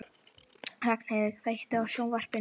Ragnheiður, kveiktu á sjónvarpinu.